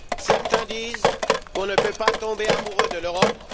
Certains disent qu'on ne peut pas tomber amoureux de l'Europe